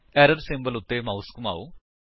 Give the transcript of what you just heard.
error symbol ਉੱਤੇ mouse ਘੁਮਾਓ